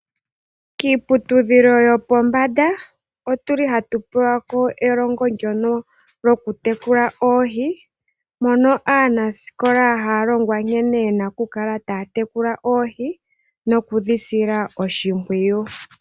Kiiputudhilo yopombanda otuli hatu hatu pewa ko elongo lyono lyokutekula oohi mono aanasikola haya longwa nkene yena oku kala taya tekula oohi nokudhi sila oshimpwiyu.